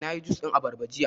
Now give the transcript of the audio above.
Na yi jus ɗin abarba jiya